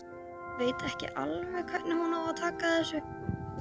Veit ekki alveg hvernig hún á að taka þessu.